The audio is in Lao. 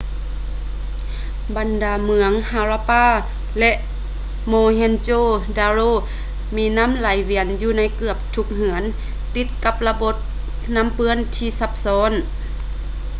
ບັນດາເມືອງ harappa ແລະ mohenjo-daro ມີນໍ້າໄຫລວຽນຢູ່ໃນເກືອບທຸກເຮືອນ ຕິດກັບລະບົບນໍ້າເປື້ອນທີ່ຊັບຊ້ອນ